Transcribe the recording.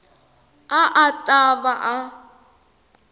a a ta va a